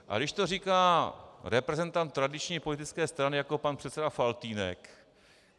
Ale když to říká reprezentant tradiční politické strany jako pan předseda Faltýnek...